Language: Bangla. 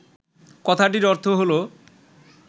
কথাটির অর্থ হল